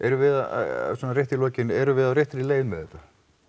erum við að svona rétt í lokin erum við á réttri leið með þetta